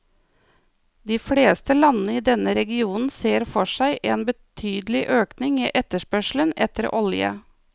De fleste landene i denne regionen ser for seg en betydelig økning i etterspørselen etter olje.